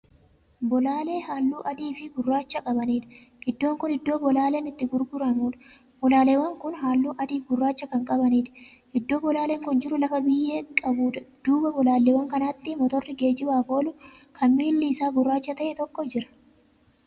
Bolaalee halluu adiifi gurraacha qabaniidha. iddoon Kun iddoo bolaaleen itti gurguramuudha. bolaaleewwan Kun halluu adiifi gurraacha Kan qabaniidha. iddoon bolaaleen Kun jiru lafa biyyee qabuudha. duuba bolaaleewwannkanaatti motorri geejjibaaf oolu Kan miilli Isaa gurraacha ta'e tokko Jira.